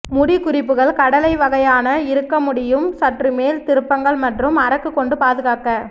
முடி குறிப்புகள் கடலை வகையான இருக்க முடியும் சற்று மேல் திருப்பங்கள் மற்றும் அரக்கு கொண்டு பாதுகாக்க